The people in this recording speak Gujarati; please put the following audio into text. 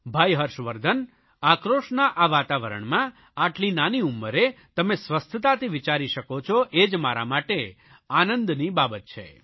ભાઇ હર્ષવર્ધન આક્રોશના આ વાતાવરણમાં આટલી નાની ઉંમરે તમે સ્વસ્થતાથી વિચારી શકો છો એ જ મારા માટે આનંદની બાબત છે